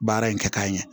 Baara in kɛ k'a ɲɛ